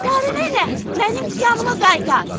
Qarı nənə, mənim tikanımı qaytar!